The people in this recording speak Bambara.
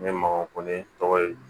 N ye ma kɔn ne tɔgɔ ye